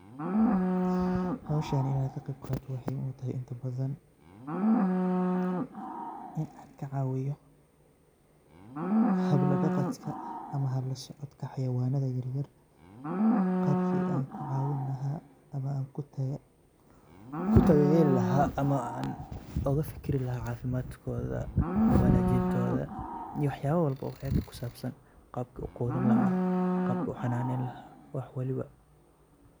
Howshan inaan ka qeyb qaato waxay muhiim u tahay inta badan inaan ka caawiyo habla dhaqadka ama hab u soo codka haweenka yaryar. Qaabka aan ku caawin lahaa ama aan ku daryeeli lahaa ama aan uga fikiri lahaa caafimaadkooda, wanaajintooda, iyo waxyaalo walba ayaga ku saabsan. Qaabka u quudin lahaa, qaabka u xanaaneyn lahaa — wax walba.